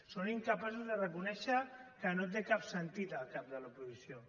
són incapaços de reconèixer que no té cap sentit el cap de l’oposició